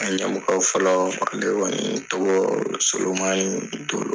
Yan mɔgɔ fɔlɔ ale kɔni tɔgɔ Solomani Dolo.